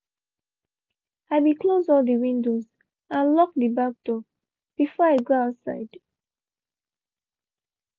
i be closed all de windows and locked de back door be i go outside.